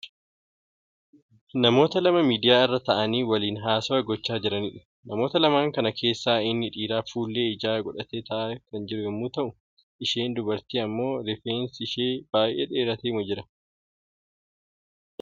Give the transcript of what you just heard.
Namoota lama miidiyaa irra ta'aanii waliin haasawwaa gochaa jiraniidha. Namoota lamaan kana keessaa inni dhiiraa fuullee ijaa godhatee ta'aa kan jiru yoo ta'u isheen dubartiin ammoo rifeensi ishee baay'ee dheeratee jira.